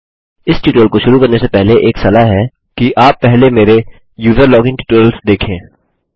इस ट्यूटोरियल को शुरू करने से पहले एक सलाह है कि आप पहले मेरे यूजर लोगिन ट्यूटोरियल्स देखें